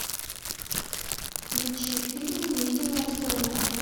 включи фильм невидимая сторона